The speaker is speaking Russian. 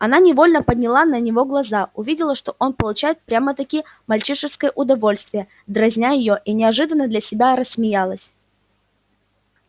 она невольно подняла на него глаза увидела что он получает прямо-таки мальчишеское удовольствие дразня её и неожиданно для себя рассмеялась